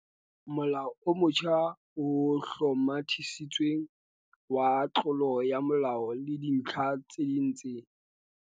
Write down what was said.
Molao o motjha o Hlomathisitsweng wa Tlolo ya molao le Dintlha tse ding tse